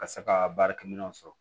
Ka se ka baarakɛminɛnw sɔrɔ